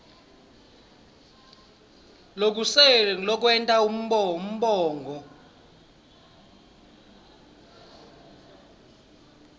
lokusele lokwenta umongo